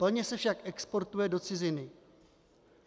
Plně se však exportuje do ciziny.